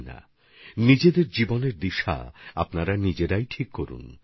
আপনারা আপনাদের নিজেদের জীবন ধারা নিজেরাই ঠিক করুন